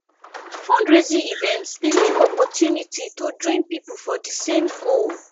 fundraising events dey mek opportunity to join pipo for di same goal